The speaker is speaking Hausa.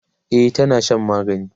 e tana Shan magani